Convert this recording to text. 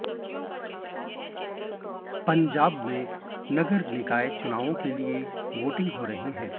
पंजाब में नगर निकाय चुनाव के लिए वोटिंग हो रही है